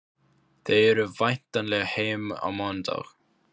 Þau eru væntanleg heim á mánudag.